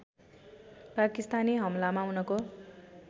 पाकिस्तानी हमलामा उनको